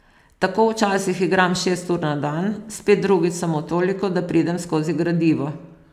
Tako včasih igram šest ur na dan, spet drugič samo toliko, da pridem skozi gradivo.